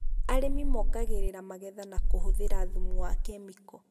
Arĩmi mongagĩrĩra magetha na kũhũthĩra thumu wa kemiko